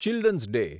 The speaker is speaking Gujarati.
children's day